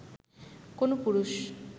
কোনও পুরুষ